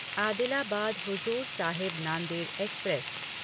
Adilabad Hazur Sahib Nanded express